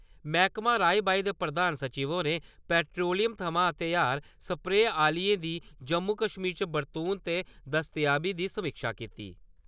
मैह्कमां राई-बाई दे प्रधान सचिव होरें पैट्रोलियम थमां तैयार सप्रे आह्‌ले दी जम्मू-कश्मीर च बरतून ते दस्तयाबी दी समीक्षा कीती।